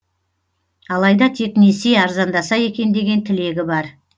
алайда тек несие арзандаса екен деген тілегі бар